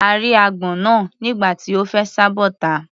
A rí agbọ́n náà nígbà tí ó fẹ́ sá bọ́ta.